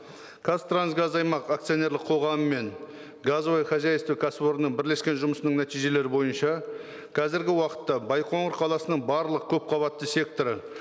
қазтрансгаз аймақ акционерлік қоғамы мен газовое хозяйство кәсіпорнының бірлескен жұмысының нәтижелері бойынша қазіргі уақытта байқоңыр қаласының барлық көпқабатты секторы